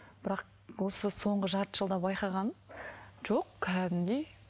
бірақ осы соңғы жарты жылда байқағаным жоқ кәдімгідей